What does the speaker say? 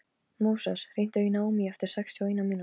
Móses, hringdu í Naómí eftir sextíu og eina mínútur.